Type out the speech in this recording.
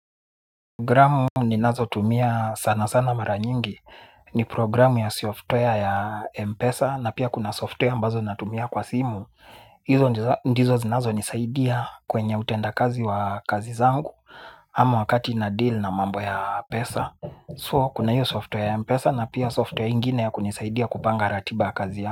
Programu ni nazo tumia sana sana mara nyingi. Ni programu ya software ya mpesa na pia kuna software ambazo natumia kwa simu. Hizo ndizo zinazo nisaidia kwenye utenda kazi wa kazi zangu ama wakati na deal na mambo ya pesa. So kuna hiyo software ya Mpesa na pia software ingine ya kunisaidia kupanga ratiba kazi ya.